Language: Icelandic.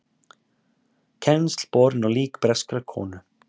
Kennsl borin á lík breskrar konu